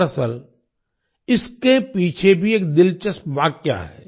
दरअसल इसके पीछे भी एक दिलचस्प वाकया है